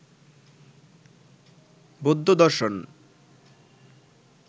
বৌদ্ধ দর্শন